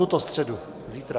Tuto středu, zítra.